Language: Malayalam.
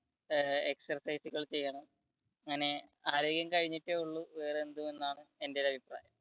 exercise കൾ ചെയ്യണം ഇങ്ങനെ ആരോഗ്യം കഴിഞ്ഞിട്ടേ ഉള്ളു വേറെന്തും എന്നാണ് എന്റെ ഒരു അഭിപ്രായം.